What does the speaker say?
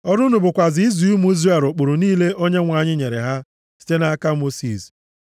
Ọrụ unu bụkwa izi ụmụ Izrel ụkpụrụ niile Onyenwe anyị nyere ha site nʼaka Mosis.”